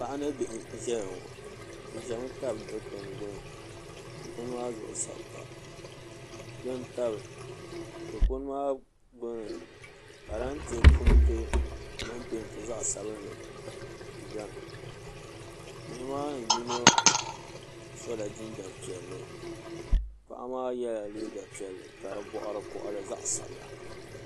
Paɣa ni bihi n ʒɛya ŋɔ bi ʒɛmi tabi Dikpuni gbuni dikpun maa zuɣu sabi pa dikpuni maa gbuni parantɛ punti din peenti zaɣ sabinli ʒɛmi bihi maa ni yino sola jinjɛm piɛlli paɣa maa yɛla liiga piɛlli ka di boɣari koɣali zaɣ sabila